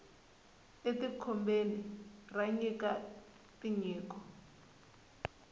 e ti kobeni ra nyika tinyiko